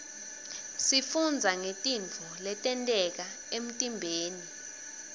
sifundza ngetintfo letenteka emtiimbeni